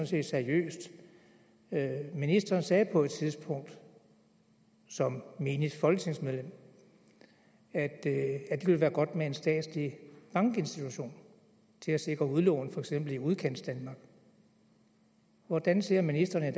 set seriøst ministeren sagde på et tidspunkt som menigt folketingsmedlem at det ville være godt med en statslig bankinstitution til at sikre udlån i for eksempel udkantsdanmark hvordan ser ministeren